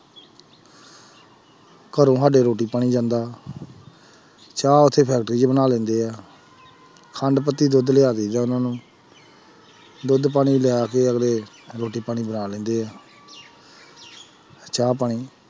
ਘਰੋਂ ਸਾਡੇ ਰੋਟੀ ਪਾਣੀ ਜਾਂਦਾ ਚਾਹ ਉੱਥੇ factory 'ਚ ਬਣਾ ਲੈਂਦੇ ਹੈ ਖੰਡ, ਪੱਤੀ, ਦੁੱਧ ਲਿਆ ਦੇਈਦਾ ਉਹਨਾਂ ਨੂੰ ਦੁੱਧ ਪਾਣੀ ਲਿਆ ਕੇ ਅਗਲੇ ਰੋਟੀ ਪਾਣੀ ਬਣਾ ਲੈਂਦੇ ਹੈ ਚਾਹ ਪਾਣੀ